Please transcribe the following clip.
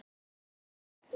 Árni Vill.